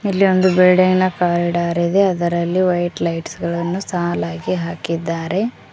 ಇಲ್ಲಿ ಒಂದು ಬಿಲ್ಡಿಂಗ್ ನ ಕಾರಿಡಾರ್ ಇದೆ ಅದರಲ್ಲಿ ವೈಟ್ ಲೈಟ್ಸ್ ಗಳನ್ನು ಸಾಲಗಿ ಹಾಕಿದ್ದರೆ.